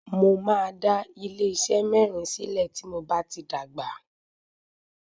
Mo máa dá ilé iṣé mẹ́rin sílẹ̀ tí mo bá ti dàgbà.